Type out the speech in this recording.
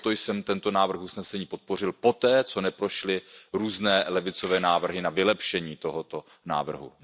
Proto jsem tento návrh usnesení podpořil poté, co neprošly různé levicové návrhy na vylepšení tohoto návrhu.